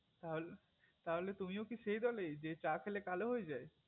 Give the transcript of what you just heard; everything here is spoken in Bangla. তা তাহলে কি তুমিও কি সেই দোলে যে চা খেলে কালো হয়ে যায়